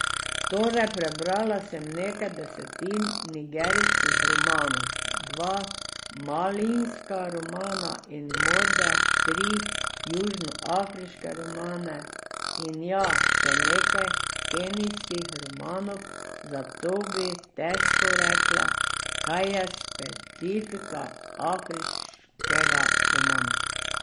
Torej, prebrala sem nekaj desetin nigerijskih romanov, dva malijska romana in morda tri južnoafriške romane, in ja, še nekaj kenijskih romanov, zato bi težko rekla, kaj je specifika afriškega romana.